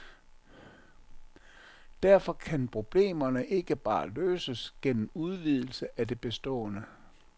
Derfor kan problemerne ikke bare løses gennem udvidelse af det bestående.